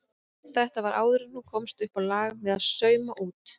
Þetta var áður en hún komst uppá lag með að sauma út.